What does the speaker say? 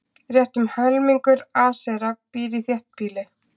Rétt um helmingur Asera býr í þéttbýli.